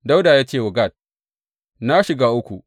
Dawuda ya ce wa Gad, Na shiga uku.